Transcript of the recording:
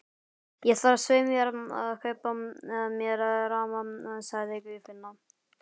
Ég þarf svei mér að kaupa mér ramma, sagði Guðfinna.